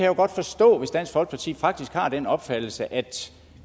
jo godt forstå hvis dansk folkeparti faktisk har den opfattelse at